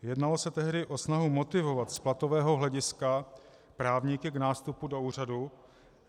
Jednalo se tehdy o snahu motivovat z platového hlediska právníky k nástupu do úřadu.